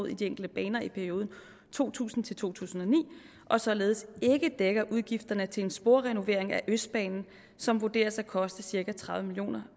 i de enkelte baner i perioden to tusind til to tusind og ni og således ikke dækker udgifterne til en sporrenovering af østbanen som vurderes at koste cirka tredive million